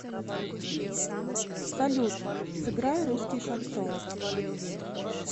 салют сыграй русский шансон